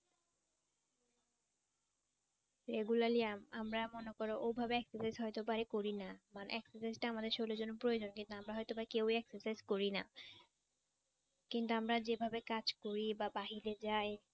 এগুলা লিয়া আম আমরা মনে কর ওভাবে exercise হয়তো বাড়ি করি না exercise টা আমাদের শরীরের জন্য প্রয়োজন কিন্তু আমরা হয়তো বা কেউ exercise করিনা কিন্তু আমরা যেভাবে কাজ করি বা বাহিরে যাই